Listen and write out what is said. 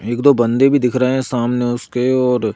एक दो बंदे भी दिख रहे हैं सामने उसके और--